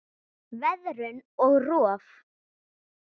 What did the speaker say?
Veðrun og rof